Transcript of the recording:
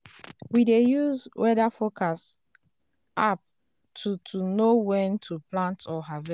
we plant cassava for higher ground make flood no wash am away.